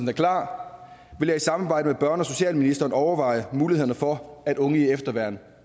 er klar vil jeg i samarbejde med børne og socialministeren overveje mulighederne for at unge i efterværn